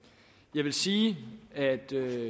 jeg vil sige at